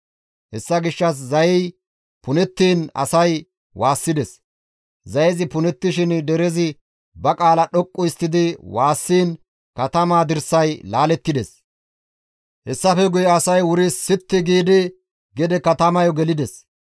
Hessa gishshas zayey punettiin asay waassides; zayezi punettishin derezi ba qaala dhoqqu histtidi waassiin katamaa dirsay laalettides; hessafe guye asay wuri sitti giidi gede katamayo gelides.